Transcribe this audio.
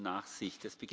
Ich bitte um Nachsicht.